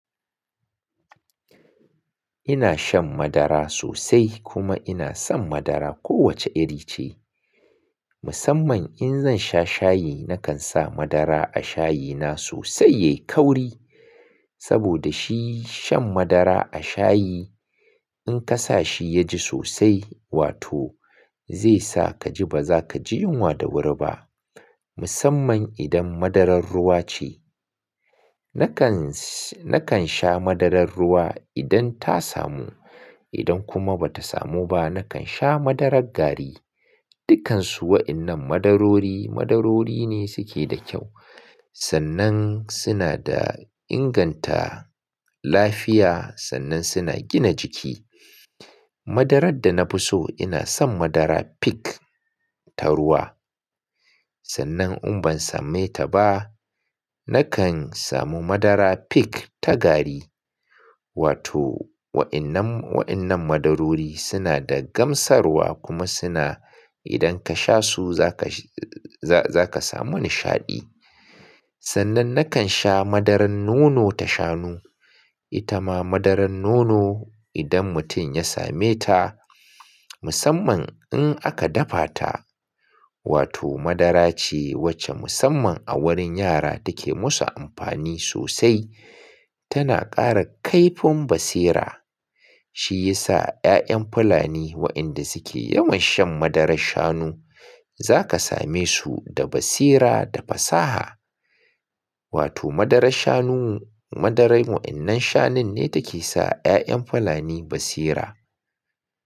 Ina shan madara sosai kuma ina son madara kowace iri ce. Musamman in zan sha shayi, nakan sa madara a shayina sosai ya yi kauri. Saboda shi shan madara a shayi in ka sa shi ya ji sosai, wato zai sa ka ji baza ka ji yunwa da wuri ba. Musamman idan madarar ruwa ce. Nakan, nakan sha madarar ruwa idan ta samu. Idan kuma bata samu ba, na kan sha madarar gari. Dukkan su wa'innan madarori, madarori ne suke da kyau. Sannan suna da inganta lafiya sannan suna gina jiki. Madarar da na fi so ina son madara peak ta ruwa. Sannan in ban same ta ba, nakan samu madara peak ta gari. Wato wa'innan, wa'innan madarori suna da gamsarwa kuma suna idan ka sha su za ka, za ka samu nishaɗi. Sannan nakan sha madarar nono ta shanu. Ita ma madarar nono idan mutum ya same ta musamman in aka dafa ta wato madara ce wacce musamman a wurin yara take musu amfani sosai. Tana ƙara kaifin basira. Shi ya sa 'ya'yan Fulani waɗanda suke yawan shan madarar shanu za ka same su da basira da fasaha. Wato madarar shanu, madarar wa'innan shanun ne take sa 'ya'yan Fulani basira.